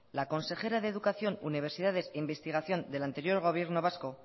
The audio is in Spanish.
la consejera de educación universidades investigación del anterior gobierno vasco